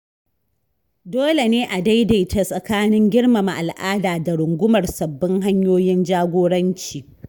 Dole ne a daidaita tsakanin girmama al’ada da rungumar sabbin hanyoyin jagoranci.